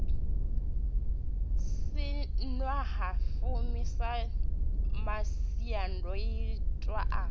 si ṅwahafumi sa masiandoitwa a